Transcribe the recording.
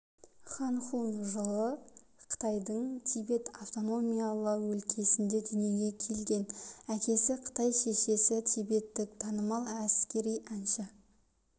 хан хун жылы қытайдың тибет автономиялы өлкесінде дүниеге келген әкесі қытай шешесі тибеттік танымал әскери әнші